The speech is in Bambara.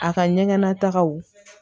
A ka ɲɛgɛn nataw